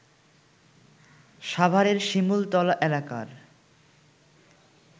সাভারের শিমুলতলা এলাকার